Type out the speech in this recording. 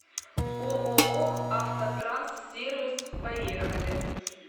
ооо автотранссервис поехали